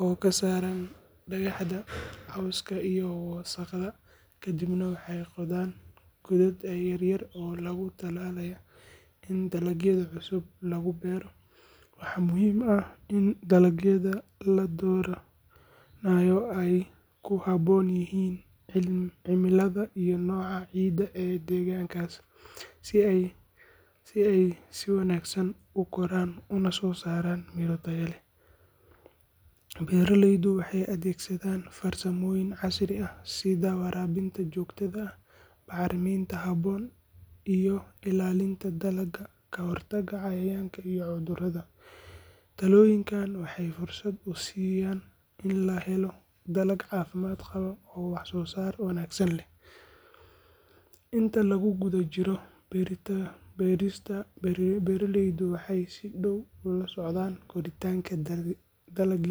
oo ka saara dhagxaanta, cawska iyo wasakhda, kadibna waxay qodaan godad yar yar oo loogu talagalay in dalagyada cusub lagu beero. Waxaa muhiim ah in dalagyada la dooranayo ay ku habboon yihiin cimilada iyo nooca ciidda ee deegaankaas, si ay si wanaagsan u koraan una soo saaraan miro tayo leh. Beeraleydu waxay adeegsadaan farsamooyin casri ah sida waraabinta joogtada ah, bacriminta habboon, iyo ilaalinta dalagga ka hortagga cayayaanka iyo cudurrada. Tallaabooyinkan waxay fursad u siiyaan in la helo dalag caafimaad qaba oo wax-soo-saar wanaagsan leh. Inta lagu guda jiro beerista, beeraleydu waxay si dhow ula socdaan koritaanka dalagyada.